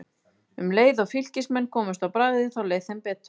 Um leið og Fylkismenn komust á bragðið þá leið þeim betur.